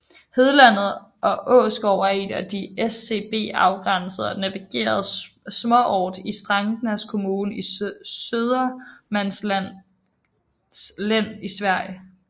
Hedlandet og Åsgård er en af SCB afgrænset og navngivet småort i Strängnäs kommun i Södermanlands län i Sverige